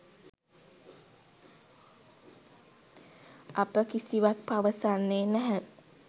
අප කිසිවක් පවසන්නේ නැහැ.